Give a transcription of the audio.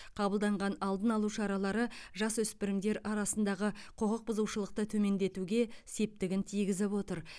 қабылданған алдын алу шаралары жасөспірімдер арасындағы құқық бұзушылықты төмендетуге септігін тигізіп отыр